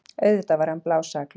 Auðvitað var hann blásaklaus!